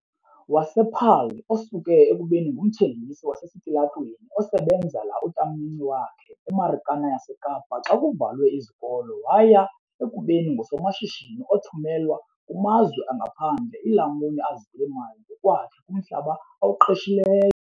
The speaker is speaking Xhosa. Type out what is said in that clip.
wasePaarl, osuke ekubeni ngumthengisi wasesitalatweni osebenzela utamncinci wakhe eMarikana yaseKapa xa kuvalwe izikolo waya ekubeni ngusomashishini othumelwa kumazwe angaphandle iilamuni azilima ngokwakhe kumhlaba awuqeshileyo.